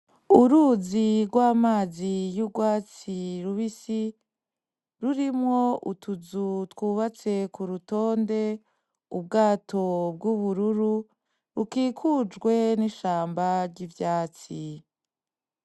Uruzi gw'amazi y'ugwatsi rubisi rurimwo utuzu twubatse kurutonde ubwato bw'ubururu bukikujwe n'ishamba ry'ivyatsi.